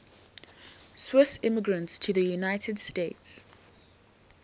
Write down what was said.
swiss immigrants to the united states